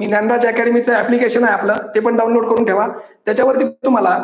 Dnyanraj academy चे application आहे आपलं ते पण डाऊनलोड करून ठेवा. त्याच्यावरती तुम्हाला